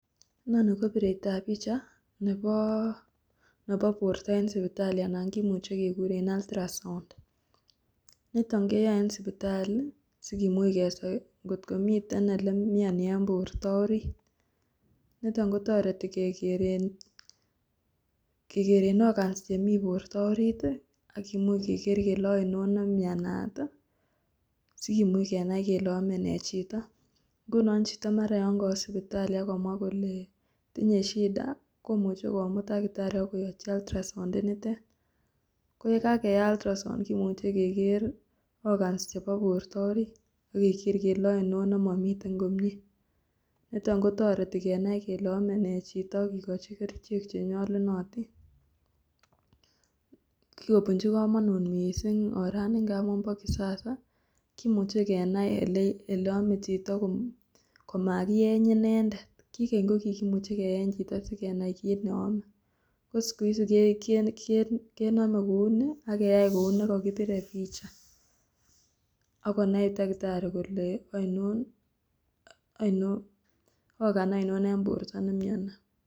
Noni ko bireito ab picha nebo nebo borto eng' sipitali anan kimuchi keguren ultrasound. Niton keyae eng' sipitali sigimuch kesoi ngotko miten olen imyeni en borto orit. Niton kotoreti kegeren kegeren organs chemi borto orit, agimuch keger kele ainon nemyanat, sigimuch kenai kele ame ne chito. Nguno chito mara yon kawo sipitali agomwa kole tinye shida komuchi komut dakitari akoachi ultrasound eniten. Ko yekageai ultrasound kemuchi keger organs chebo borto orit agager kele ainon nemamiten komye. Niton kotoreti kenai kele ame nee chito akigochi kerichek chenyalunotin. Kigobunchi kamanut missing orani ngamu ba kisasa kimuche kenai ele ele ame chito komakieny inendet. Kigeny ko kikimuchi keeny chito sigenai kiit neame. Ko siku hizi ke ken kename kouni ak keyai kounikagibire picha agonai takitari kole ainon aino organ aino eng' borto nemyoni.